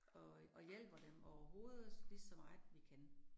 Og øh og hjælper dem overhovedet ligeså meget, vi kan